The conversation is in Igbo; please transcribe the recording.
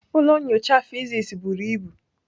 Ụlọ nyocha physics buru ibu.